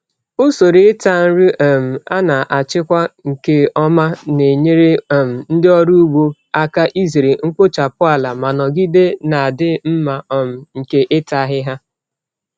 Usoro ịta nri um a na-achịkwa nke ọma na-enyere um ndị ọrụ ugbo aka izere mkpochapụ ala ma nọgide na-adị mma um nke ịta ahịhịa.